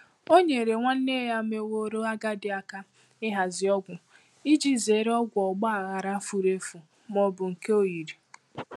O nyeere nwanne nne ya meworo agadi aka ịhazi ọgwụ iji zere ọgwụ ọgbaghara furu efu ma ọ bụ nke oyiri.